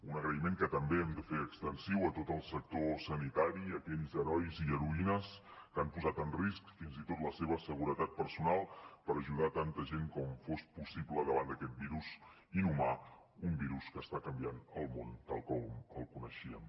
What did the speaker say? un agraïment que també hem de fer extensiu a tot el sector sanitari a aquells herois i heroïnes que han posat en risc fins i tot la seva seguretat personal per ajudar tanta gent com fos possible davant d’aquest virus inhumà un virus que està canviant el món tal com el coneixíem